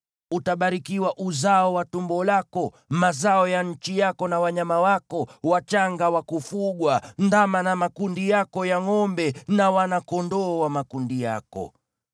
Utabarikiwa uzao wa tumbo lako, na mazao ya nchi yako na wanyama wako wachanga wa kufugwa, yaani ndama wa makundi yako ya ngʼombe, na wana-kondoo wa makundi yako.